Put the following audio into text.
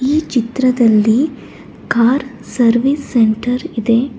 ಈ ಚಿತ್ರದಲ್ಲಿ car service centre ಇದೆ.